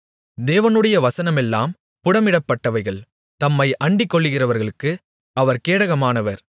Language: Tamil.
தேவனுடைய வசனமெல்லாம் புடமிடப்பட்டவைகள் தம்மை அண்டிக்கொள்கிறவர்களுக்கு அவர் கேடகமானவர்